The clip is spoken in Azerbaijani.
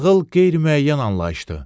Ağıl qeyri-müəyyən anlayışdır.